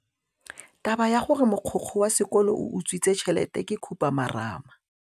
Taba ya gore mogokgo wa sekolo o utswitse tšhelete ke khupamarama.